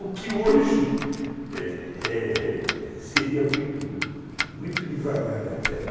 O que hoje, é é seria muito devagar até, né